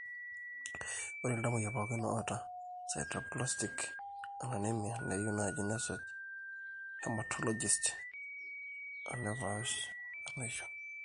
ore iltamuoyia pooki oata eSideroblastic anemia neyieu naaji nesuj orhematologist o nepaash enaishio.